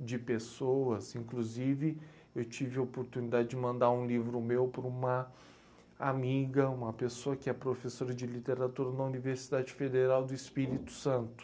de pessoas, inclusive, eu tive a oportunidade de mandar um livro meu para uma amiga, uma pessoa que é professora de literatura na Universidade Federal do Espírito Santo.